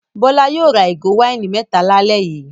Bọ́lá yóò ra ìgò wáìnì mẹ́ta lálẹ́ yìí!